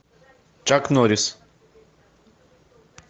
чак норрис